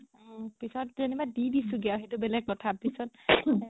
উম পিছত যেনিবা দি দিছো গে সেইটো বেলেগ কথা পিছত